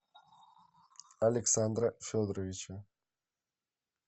александра федоровича